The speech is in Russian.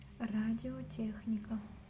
радиотехника